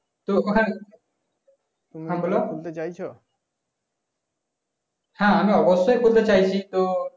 তো হ্যাঁ হ্যাঁ আমি অবশ্যই খুলতে চাইছি তো